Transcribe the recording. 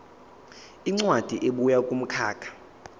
incwadi ebuya kumkhakha